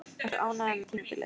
Ertu ánægður með tímabilið?